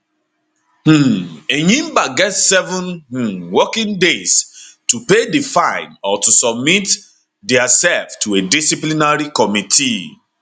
um enyimba get seven um working days to pay di fine or to submit diasef to a disciplinary committee